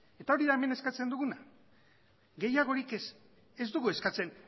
eta hori da hemen eskatzen duguna gehiagorik ez ez dugu eskatzen